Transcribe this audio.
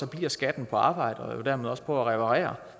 bliver skatten på arbejde og jo dermed også på at reparere